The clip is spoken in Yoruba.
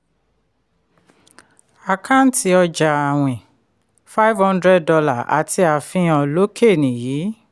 àkántì ọjà-àwìn five hundred dollar àti àfihàn lókè ni yìí.